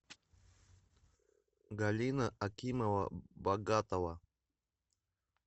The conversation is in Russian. галина акимова богатова